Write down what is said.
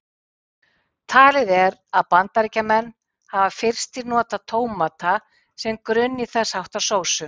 Talið er að Bandaríkjamenn hafi fyrstir notað tómata sem grunn í þess háttar sósu.